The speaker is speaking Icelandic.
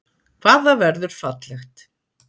Hvað það verður fallegt!